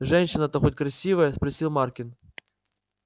женщина-то хоть красивая спросил маркин